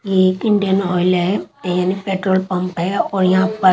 ये एक Indian Oil है यानि पेट्रोल पंप है और यहां पर--